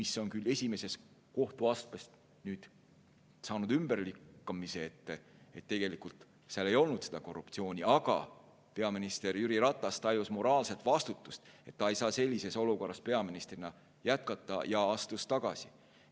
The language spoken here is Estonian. See on küll esimeses kohtuastmes ümber lükatud, tegelikult seal ei olnud korruptsiooni, aga peaminister Jüri Ratas tajus moraalset vastutust, et ta ei saa sellises olukorras peaministrina jätkata, ja astus tagasi.